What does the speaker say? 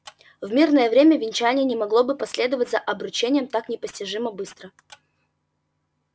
в мирное время венчание не могло бы последовать за обручением так непостижимо быстро